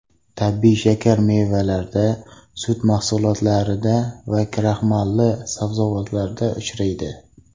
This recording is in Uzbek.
Tabiiy shakar mevalarda, sut mahsulotlarida va kraxmalli sabzavotlarda uchraydi.